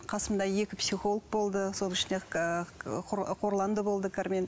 қасымда екі психолог болды соның ішінде қорлан да болды кармен